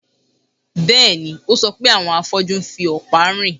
Bẹ́ẹ̀ni, ó sọ pé àwọn afọ́jú ń fi ọ̀pá rìn